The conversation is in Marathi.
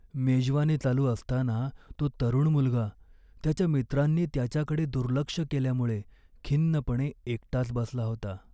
मेजवानी चालू असताना तो तरुण मुलगा त्याच्या मित्रांनी त्याच्याकडे दुर्लक्ष केल्यामुळे खिन्नपणे एकटाच बसला होता.